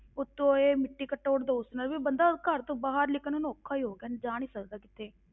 ਉੱਤੋਂ ਇਹ ਮਿੱਟੀ ਘੱਟਾ ਉੱਡਦਾ, ਉਸ ਨਾਲ ਵੀ ਬੰਦਾ ਘਰ ਤੋਂ ਬਾਹਰ ਨਿਕਲਣਾ ਔਖਾ ਹੀ ਹੋ ਗਿਆ ਜਾ ਨੀ ਸਕਦਾ ਕਿਤੇ।